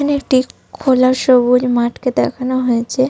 এখানে একটি খোলা সবুজ মাঠকে দেখানো হয়েছে।